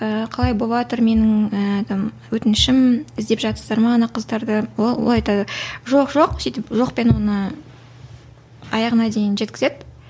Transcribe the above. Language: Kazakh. ііі қалай боватыр менің ііі өтінішім іздеп жатырсыздар ма ана қыздарды ол олар айтады жоқ жоқ сөйтіп жоқпен оны аяғына дейін жеткізеді